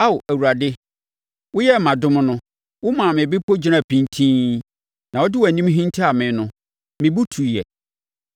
Ao Awurade, woyɛɛ me adom no womaa me bepɔ gyinaa pintinn na wode wʼanim hintaa me no, me bo tuiɛ.